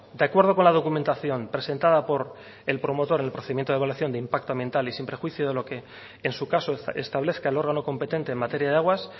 de acuerdo con la documentación presentada por el promotor en el procedimiento de evaluación de impacto ambiental y sin prejuicio de lo que en su caso establezca el órgano competente en materia de aguas